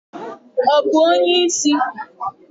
Ọ bụ onye isi?